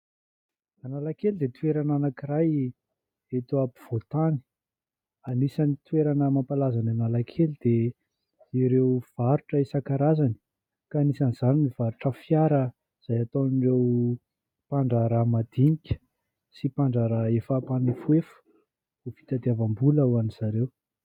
Analakely dia toerana anankiray eto ampovoan-tany. Anisan'ny toerana mampalaza an'Analakely dia ireo varotra isan-karazany ka anisan'izany ny varotra fiara izay ataon'ireo mpandraharaha madinika sy mpandraharaha efa mpanefoefo ho fitatiavam-bola ho anzareo.